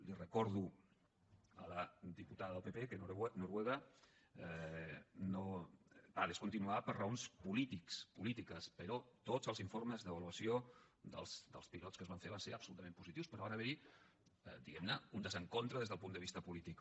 li recordo a la diputada del pp que noruega ho va discontinuar per raons polítiques però tots els informes d’avaluació dels pilots que es van fer van ser absolutament positius però va haver hi diguem ne un desencontre des del punt de vista polític